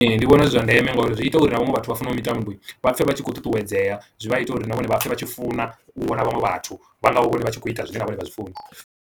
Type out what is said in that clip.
Ee ndi vhona zwi zwa ndeme ngauri zwi ita uri na vhaṅwe vhathu vha fanela u mitambo vhapfe vha tshi khou ṱuṱuwedzea zwi vha ita uri na vhone vha pfhe vha tshi funa u vhona vhaṅwe vhathu vha nga vha vhone vha tshi kho ita zwine na vhone vha zwi funa